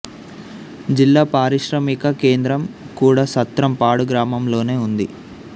జిల్లా పారిశ్రామిక కేంద్రం కూడా సత్రం పాడు గ్రామంలోనే ఉంది